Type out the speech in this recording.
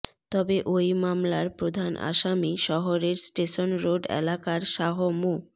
তবে ওই মামলার প্রধান আসামি শহরের স্টেশন রোড এলাকার শাহ মো